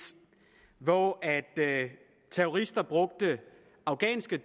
hvor terrorister brugte afghanske